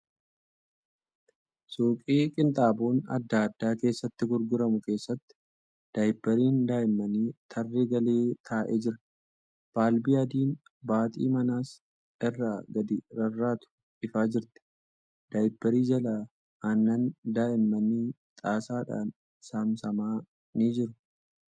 Suuqii qinxaaboon adda addaa keessatti gurguramu keessatti daayippariin daa'immanii tarree galee taa'ee jira. Balbii adiin baaxii manas irra gadi rarraatu ifaa jirti. Daayipparii jalaa aannan daa'immanii xaasaadhaan saamsame ni jira.